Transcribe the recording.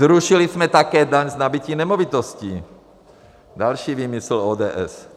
Zrušili jsme také daň z nabytí nemovitostí, další výmysl ODS.